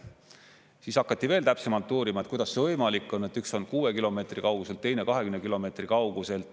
Siis hakati veel täpsemalt uurima, et kuidas see võimalik on, kui üks on 6 kilomeetri kaugusel, teine 20 kilomeetri kaugusel.